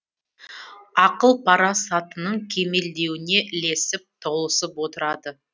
ақыл пара сатының кемелденуіне ілесіп толысып отырады